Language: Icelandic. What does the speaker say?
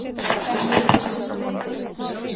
Hvernig hefur líf þitt breyst eftir þetta slys?